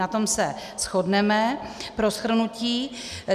Na tom se shodneme pro shrnutí.